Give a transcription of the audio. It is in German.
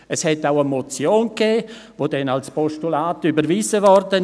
Es gab auch eine Motion, die dann als Postulat überwiesen wurde.